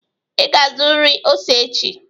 Ị ga-azụrịrị ose echi!